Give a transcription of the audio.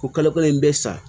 Ko kalo kelen in bɛ sa